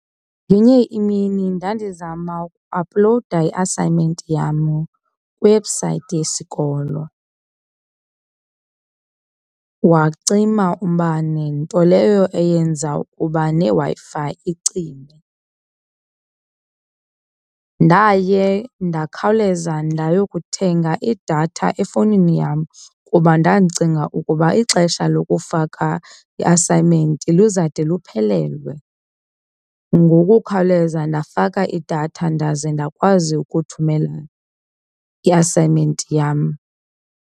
Ngenye imini ndandizama ukuaphulowuda i-assignment yam kwiwebhusayithi yesikolo wacima umbane, nto leyo eyenza ukuba neWi-Fi icime. Ndaye ndakhawuleza ndayokuthenga idatha efowunini yam kuba ndandicinga ukuba ixesha lokufaka i-assignment luzade luphelelwe. Ngokukhawuleza ndafaka idatha ndaze ndakwazi ukuthumela ii-assignment yam.